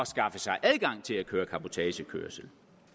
skaffe sig adgang til at køre cabotagekørsel